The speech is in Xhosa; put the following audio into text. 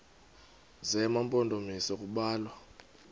zema mpondomise kubalwa